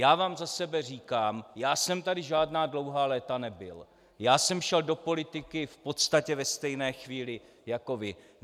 Já vám za sebe říkám, já jsem tady žádná dlouhá léta nebyl, já jsem šel do politiky v podstatě ve stejné chvíli jako vy.